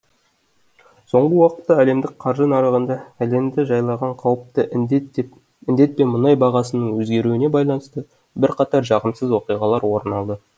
соңғы уақытта әлемдік қаржы нарығында әлемді жайлаған қауіпті індет пен мұнай бағасының өзгеруіне байланысты бірқатар жағымсыз оқиғалар орын алды